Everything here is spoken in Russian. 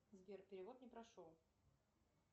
сбер перевод не прошел